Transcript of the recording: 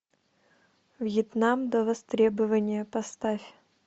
вьетнам до востребования поставь